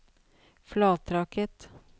Flatraket